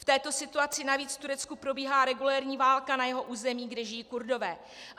V této situaci navíc v Turecku probíhá regulérní válka na jeho území, kde žijí Kurdové.